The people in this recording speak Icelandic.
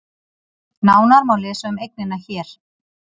Nánar má lesa um eignina hér